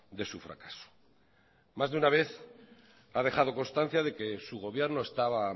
de su fracaso más de una vez ha dejado constancia de que su gobierno estaba